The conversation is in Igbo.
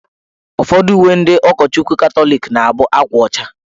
Ufọdụ uwe ndị ụkọchukwu katọlịk na abụ akwa ọcha